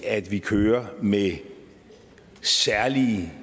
at vi kører med særlige